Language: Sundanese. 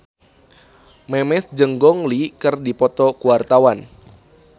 Memes jeung Gong Li keur dipoto ku wartawan